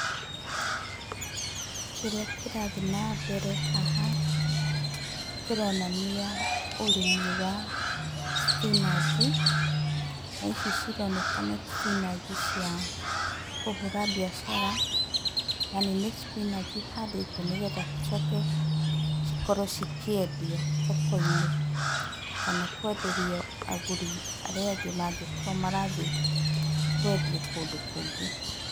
Kĩrĩa kĩrathi na mbere haha kĩronania ũrĩmi wa cipinanji, na ici cironeka nĩ cipinanji cia kũhũra mbiacara, yani nĩ cipinanji cihandĩtwo nĩgetha cicoke cikorwo cikĩendio thoko-inĩ na kwenderio agũri arĩa angĩ mangĩkorwo marathi kwendia kũndũ kũngĩ.